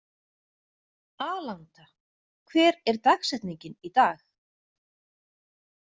Alanta, hver er dagsetningin í dag?